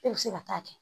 E bɛ se ka taa kɛ